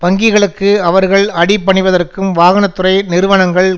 வங்கிகளுக்கு அவர்கள் அடிபணிவதற்கும் வாகன துறை நிறுவனங்கள்